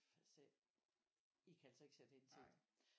I kan altså ikke sætte hende til det